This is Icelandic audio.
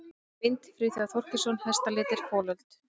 Mynd: Friðþjófur Þorkelsson: Hestalitir- folöld.